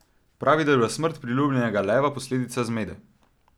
Pravi, da je bila smrt priljubljenega leva posledica zmede.